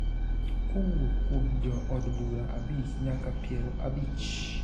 kowuok kuom jo od bura abich nyaka piero abich